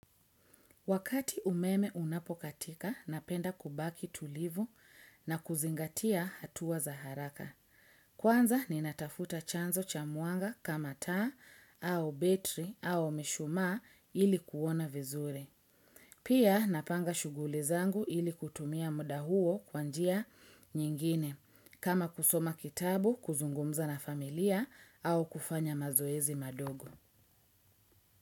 Wakati umeme unapokatika, napenda kubaki tulivu na kuzingatia hatua za haraka. Kwanza, ninatafuta chanzo cha mwanga kama taa, au betri, au mishumaa ili kuona vizuri. Pia, napanga shuguli zangu ili kutumia muda huo kwa njia nyingine, kama kusoma kitabu, kuzungumza na familia, au kufanya mazoezi madogo.